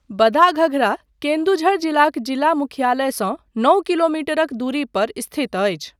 बदाघगरा केन्दुझर जिलाक जिला मुख्यालयसँ नओ किलोमीटरक दूरी पर स्थित अछि।